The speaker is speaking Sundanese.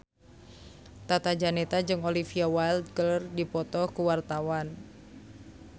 Tata Janeta jeung Olivia Wilde keur dipoto ku wartawan